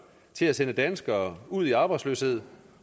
til at sende danskere ud i arbejdsløshed